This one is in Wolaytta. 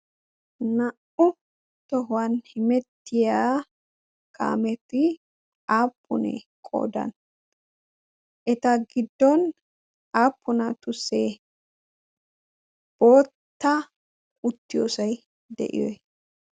naa'u tohuwan himettiya kaameti aappunee qoodan eta giddon aappuna tussee bootta uttiyoosay de'iyoy